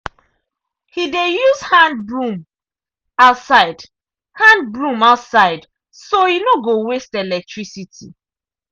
he dey use hand broom outside hand broom outside so e no go waste electricity.